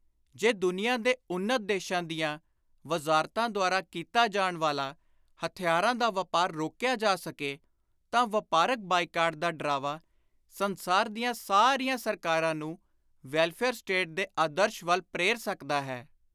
ਜੇ ਦੁਨੀਆਂ ਦੇ ਉੱਨਤ ਦੇਸ਼ਾਂ ਦੀਆਂ ਵਜ਼ਾਰਤਾਂ ਦੁਆਰਾ ਕੀਤਾ ਜਾਣ ਵਾਲਾ ਹਥਿਆਰਾਂ ਦਾ ਵਾਪਾਰ ਰੋਕਿਆ ਜਾ ਸਕੇ ਤਾਂ ਵਾਪਾਰਕ ਬਾਈਕਾਟ ਦਾ ਡਰਾਵਾ ਸੰਸਾਰ ਦੀਆਂ ਸਾਰੀਆਂ ਸਰਕਾਰਾਂ ਨੂੰ ਵੈਲਫ਼ੇਅਰ ਸਟੇਟ ਦੇ ਆਦਰਸ਼ ਵੱਲ ਪ੍ਰੇਰ ਸਕਦਾ ਹੈ।